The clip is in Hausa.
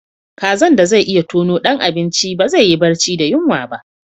Kazan da zai iya tono dan abinci ba zai yi barci da yunwa ba.